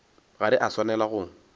ga re a swanela go